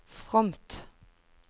fromt